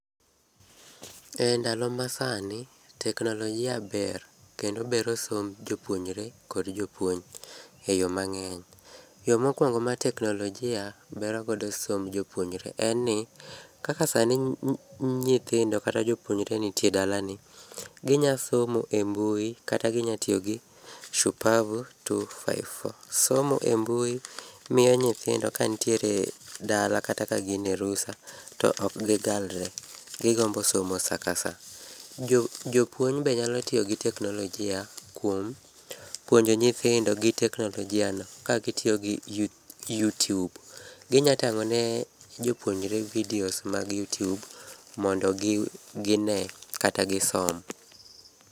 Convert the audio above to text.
E ndalo masani, teknolojia ber kendo bero somb jopuonjre kod jopuonj, e yoo mang'eny. Yoo mokuongo ma teknolojia bero godo somb jopuonjre en ni, kaka sani nyithindo kata jopuonjre nitie dalani, ginya somo e mbui kata ginya tiyogi shupavu 254. Somo e mbui miyo nyithindo ka ntiere dala kata ka gin e rusa to ok gigalre, gigombo somo sa ka sa. Jopuonj be nyalo tiyo gi teknolojia kuom puonjo nyithindo gi teknolojia no ka gitiyo gi youtube. Ginya tang'o ne jopuonjre videos mag youtube mondo gine kata gisom.